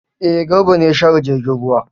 E, Garba ne ya share jirgin ruwa.